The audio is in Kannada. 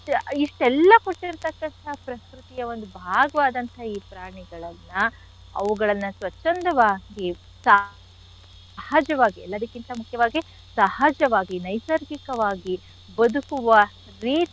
ಇಷ್ಟೆಲ್ಲಾ ಕೊಟ್ಟಿರ್ತಕ್ಕಂಥ ಪ್ರಕೃತಿಯ ಒಂದ್ ಭಾಗವಾದಂಥಹ ಈ ಪ್ರಾಣಿಗಳನ್ನ ಅವುಗಳನ್ನ ಸ್ವಚ್ಛಂದವಾಗಿ ಸಹಜವಾಗಿ ಎಲ್ಲದಕ್ಕಿಂತ ಮುಖ್ಯವಾಗಿ ಸಹಜವಾಗಿ ನೈಸರ್ಗಿಕವಾಗಿ ಬದುಕುವ ರೀತಿ.